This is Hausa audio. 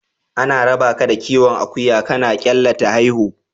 Ana rabaka da kiwon akuya kana kyalla ta haihu.